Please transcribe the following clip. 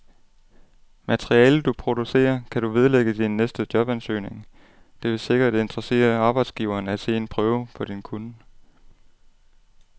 Materialet, du producerer, kan du vedlægge din næste jobansøgning, det vil sikkert interessere arbejdsgiveren at se en prøve på din kunnen.